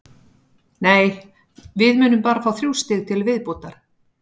Nei, við munum bara fá þrjú stig til viðbótar.